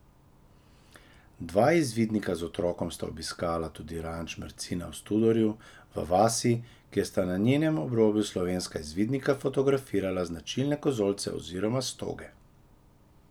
Dva izvidnika z otrokom sta obiskala tudi ranč Mrcina v Studorju, v vasi, kjer sta na njenem obrobju slovenska izvidnika fotografirala značilne kozolce oziroma stoge.